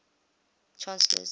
chancellors